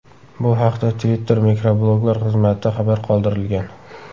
Bu haqda Twitter mikrobloglar xizmatida xabar qoldirilgan .